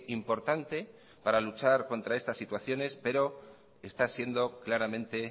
importante para luchar contra esta situaciones pero está siendo claramente